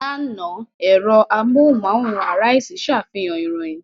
Lánàá, ẹ̀rọ amóhùmáwòhán Arise ṣàfihàn ìròyìn.